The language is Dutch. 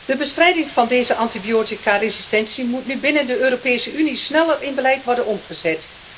De bestrijding van deze antibioticaresistentie moet nu binnen de Europese Unie sneller in beleid worden omgezet.